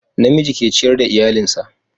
na miji ke ciyar da iyalinsa